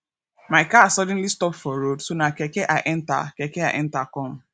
my car suddenly stop for road so na keke i enter keke i enter come